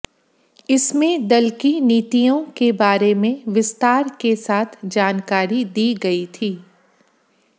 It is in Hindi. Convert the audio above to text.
इसमें दल की नीतियों के बारे में विस्तार के साथ जानकारी दी गई थी